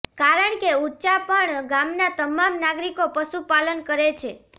કારણ કે ઉંચાપણ ગામના તમામ નાગરિકો પશુપાલન કરે છે